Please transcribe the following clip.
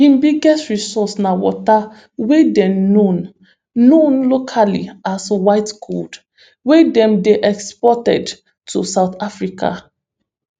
im biggest resource na water wey dey known known locally as white gold wey dem dey exported to south africa